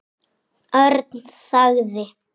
Örn þagði.